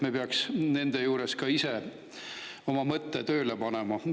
Me peaks nende puhul ka ise oma mõtte tööle panema.